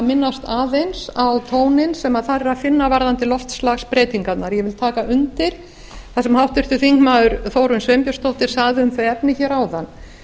minnast aðeins á tóninn sem þar er að finna varðandi loftslagsbreytingarnar ég vil taka undir það sem háttvirtur þingmaður þórunn sveinbjarnardóttir sagði um þau efni hér áðan